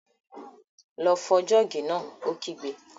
Lọ fọ jọ́ọ̀gì náà! Ó kígbe